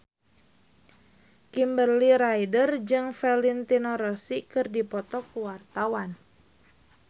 Kimberly Ryder jeung Valentino Rossi keur dipoto ku wartawan